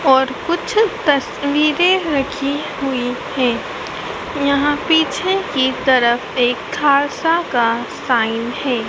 और कुछ तस्वीरें रखी हुई हैं यहां पीछे की तरफ एक खालसा का साइन है।